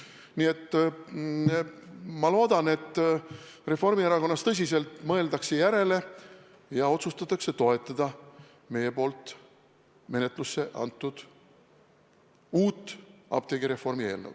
Ma väga loodan, et Reformierakonnas tõsiselt mõeldakse järele ja otsustatakse toetada meie poolt menetlusse antud uut apteegireformi eelnõu.